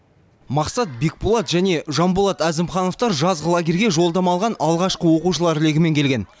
мақсат бекболат және жанболат әзімхановтар жазғы лагерьге жолдама алған алғашқы оқушылар легімен келген